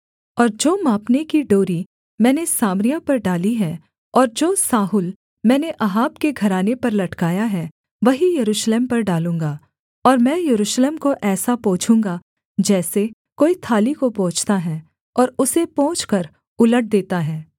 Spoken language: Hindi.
और जो मापने की डोरी मैंने सामरिया पर डाली है और जो साहुल मैंने अहाब के घराने पर लटकाया है वही यरूशलेम पर डालूँगा और मैं यरूशलेम को ऐसा पोछूँगा जैसे कोई थाली को पोंछता है और उसे पोंछकर उलट देता है